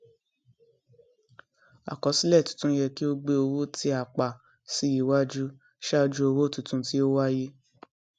àkọsílẹ tuntun yẹ kí ó gbé owó tí a pa sí iwájú ṣáájú owó tuntun tí ó wáyé